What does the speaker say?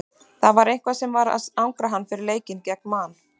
Það var eitthvað sem var að angra hann fyrir leikinn gegn Man.